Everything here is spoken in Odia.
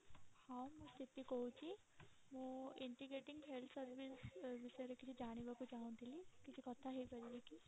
ହଁ ମୁଁ ସ୍ଥିତି କହୁଛି ମୁଁ integrating health service ବିଷୟରେ କିଛି ଜାଣିବାକୁ ଚାହୁଁଥିଲି କିଛି କଥା ହେଇ ପାରିବି କି?